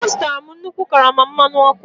Ọ zụtara nnukwu karama mmanụ ọkụ.